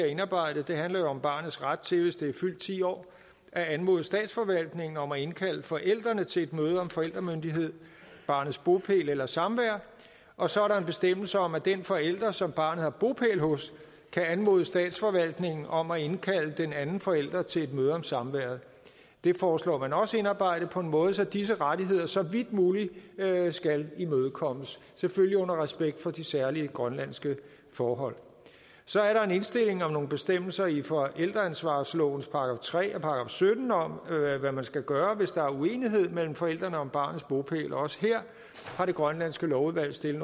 indarbejdet det handler om barnets ret til hvis det er fyldt ti år at anmode statsforvaltningen om at indkalde forældrene til et møde om forældremyndighed barnets bopæl eller samvær og så er der en bestemmelse om at den forælder som barnet har bopæl hos kan anmode statsforvaltningen om at indkalde den anden forælder til et møde om samværet det foreslår man også indarbejdet på en måde så disse rettigheder så vidt muligt skal imødekommes selvfølgelig under respekt for de særlige grønlandske forhold så er der en indstilling om nogle bestemmelser i forældreansvarslovens § tre og § sytten om hvad man skal gøre hvis der er uenighed mellem forældrene om barnets bopæl også her har det grønlandske lovudvalg stillet